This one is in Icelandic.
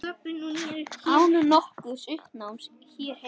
Án nokkurs uppnáms hér heima.